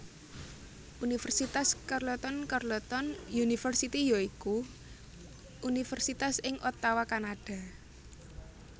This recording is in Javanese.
Universitas Carleton Carleton University ya iku universitas ing Ottawa Kanada